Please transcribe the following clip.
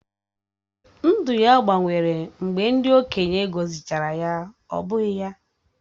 Ndụ ya gbanwere mgbe ndị okenye gọzịchara ya, ọ́ bụghị ya?